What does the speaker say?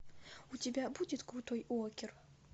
у тебя будет крутой уокер